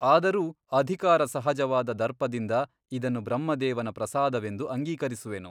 ಆದರೂ ಅಧಿಕಾರಸಹಜವಾದ ದರ್ಪದಿಂದ ಇದನ್ನು ಬ್ರಹ್ಮದೇವನ ಪ್ರಸಾದವೆಂದು ಅಂಗೀಕರಿಸುವೆನು.